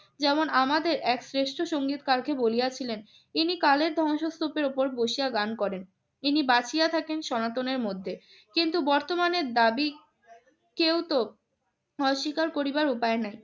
যেমন আমাদের এক শ্রেষ্ঠ সংগীতকারকে বলিয়াছিলেন, তিনি কালের ধ্বংসস্তূপের উপর বসিয়া গান করেন। তিনি বাঁচিয়া থাকেন সনাতনের মধ্যে। কিন্তু বর্তমানের দাবি কেউতো অস্বীকার করিবার উপায় নাই।